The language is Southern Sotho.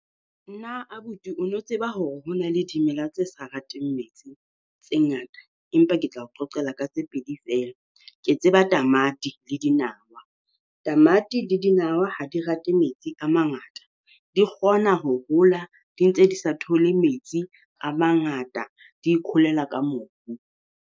Nna abuti o no tseba hore ho na le dimela tse sa rateng metsi tse ngata? Empa ke tlao qoqela ka tse pedi feela. Ke tseba tamati le dinawa, tamati le dinawa ha di rate metsi a mangata di kgona ho hola di ntse di sa thole metsi a mangata di ikgolela ka mobu.